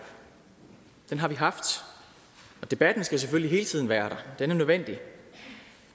den har vi haft og debatten skal selvfølgelig hele tiden være der er nødvendig